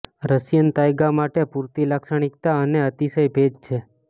Russian taiga માટે પૂરતી લાક્ષણિકતા અને અતિશય ભેજ છે